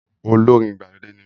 Olórin ìgbàlódé ni mí